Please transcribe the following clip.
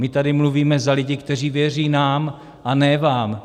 My tady mluvíme za lidi, kteří věří nám, a ne vám.